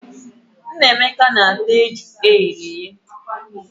Nnameka na-ata ejula eghere eghe.